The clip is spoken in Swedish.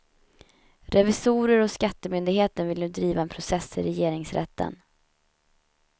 Revisorer hos skattemyndigheten vill nu driva en process i regeringsrätten.